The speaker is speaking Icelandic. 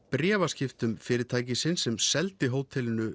bréfaskiptum fyrirtækisins sem seldi hótelinu